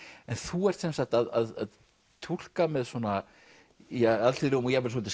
en þú ert sem sagt að túlka með svona alþýðlegum og jafnvel svolítið